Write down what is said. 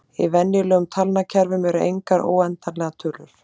Í venjulegum talnakerfum eru engar óendanlegar tölur.